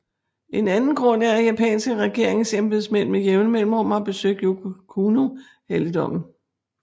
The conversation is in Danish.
En anden grund er at japanske regeringsembedsmænd med jævne mellemrum har besøgt Yasukuni helligdommen